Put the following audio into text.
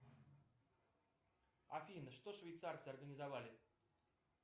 афина что швейцарцы организовали